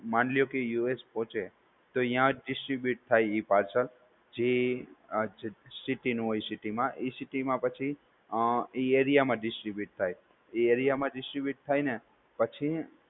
માની લ્યો કે US પોહચે તો ત્યાંજ distribute થાઈ parcel જી city નુ હોય ઈ city મા ઈ city મા પછી ઈ area મા distribute થાઈ ઈ area મા distribute થાઈ ને પછી